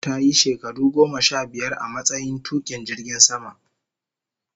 Ta yi shekaru goma sha biyar a matsayin tukin jirgin sama